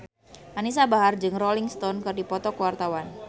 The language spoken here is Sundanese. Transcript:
Anisa Bahar jeung Rolling Stone keur dipoto ku wartawan